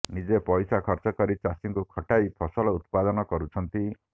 ନିଜେ ପଇସା ଖର୍ଚ୍ଚ କରି ଚାଷୀଙ୍କୁ ଖଟାଇ ଫସଲ ଉତ୍ପାଦନ କରୁଛନ୍ତି